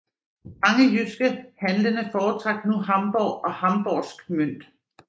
Mange jyske handlende foretrak nu Hamborg og hamborgsk mønt